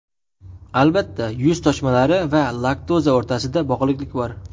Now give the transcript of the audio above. Albatta, yuz toshmalari va laktoza o‘rtasida bog‘liqlik bor.